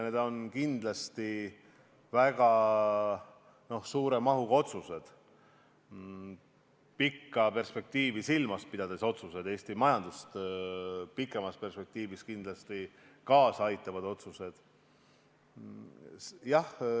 Need on kindlasti väga suure mahuga otsused, pikka perspektiivi silmas pidavad otsused, Eesti majanduse edenemisele pikemas perspektiivis kaasa aitavad otsused.